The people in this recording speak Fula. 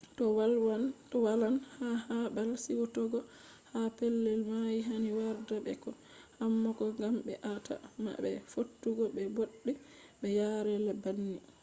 to walan ha babal suitogo ha pellel mai hani warda be ko hammock gam be a ta ma be fottugo be bodde be yaa’re banni